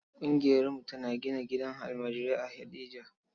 Ƙungiyarmu tana gina gidan almajirai a Heɗejia.